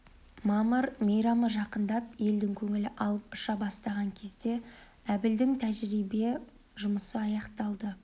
мамыр мейрамы жақындап елдің көңілі алып-ұша бастаған кезде әбілдің тәжірибе жұмысы аяқталды